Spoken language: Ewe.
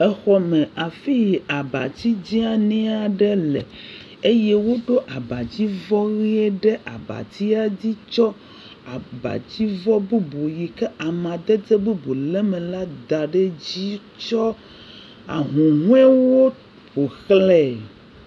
exɔ me afii abatsi dzenie ɖe le eye woɖó abadzivɔ yie ɖe abadzi tsɔ abadzivɔ bubu yike amadede bubu le eme la da ɖɛ dzi tsɔ ahuhoewo ƒo xlãe